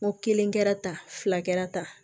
N ko kelen kɛra tan fila kɛra kɛra tan